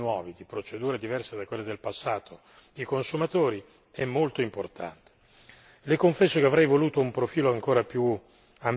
Allora garantire anche attraverso l'uso di strumenti nuovi, di procedure diverse da quelle del passato, i consumatori è molto importante.